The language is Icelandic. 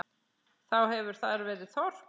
Þá hefur þar verið þorp.